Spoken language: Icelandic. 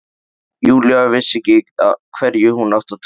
Júlía vissi ekki hverju hún átti að trúa.